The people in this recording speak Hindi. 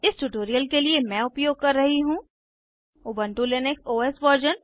इस ट्यूटोरियल के लिए मैं उपयोग कर रही हूँ उबन्टु लिनक्स ओएस वर्जन 12